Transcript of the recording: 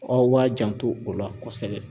Aw b'a janto o la kosɛbɛ.